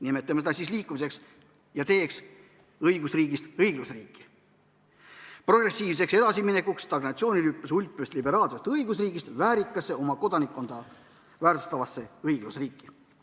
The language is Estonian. Nimetame seda siis liikumiseks ja teeks õigusriigist õiglusriiki, progressiivseks edasiminekuks stagnatsiooni rüpes hulpivast liberaalsest õigusriigist väärikasse oma kodanikkonda väärtustavasse õiglusriiki.